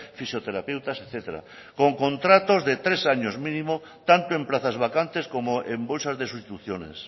fisioterapeutas etcétera con contratos de tres años mínimos tanto en plazas vacantes como en bolsas de sustituciones